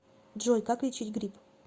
джой как лечить грипп